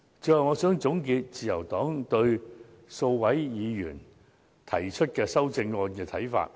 最後，我想總結自由黨對數位議員提出的修正案的看法。